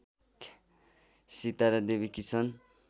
Sitara Devi Kishan